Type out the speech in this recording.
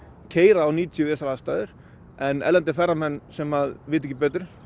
keyra á níutíu við þessar aðstæður en erlendir ferðamenn sem vita ekki betur